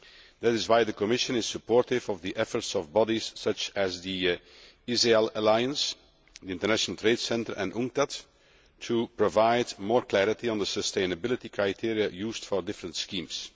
That is why the Commission is supportive of the efforts of bodies such as the ISEAL Alliance, the International Trade Centre and UNCTAD to provide more clarity on the sustainability criteria used for different schemes.